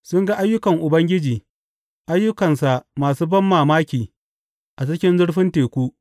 Sun ga ayyukan Ubangiji, ayyukansa masu banmamaki a cikin zurfin teku.